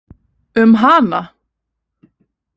Um hana?